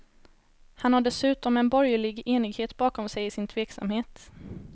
Han har dessutom en borgerlig enighet bakom sig i sin tveksamhet.